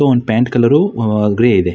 ಒಂದು pant colour grey ಇದೆ.